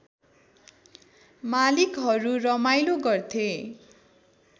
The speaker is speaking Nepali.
मालिकहरू रमाइलो गर्थे